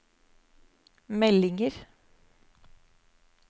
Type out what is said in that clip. meldinger